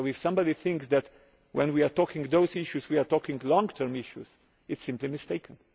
living. So if somebody thinks that when we are talking about those issues we are talking long term issues, they are simply